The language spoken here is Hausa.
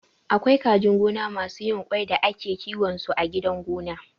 Akwai kajin gona masu yin ƙwai da ake kiwon su a gidan gona